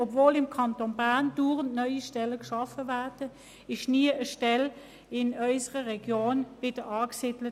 Obwohl im Kanton Bern andauernd neue Stellen geschaffen wurden, wurde in unserer Region nie eine neue Stelle angesiedelt.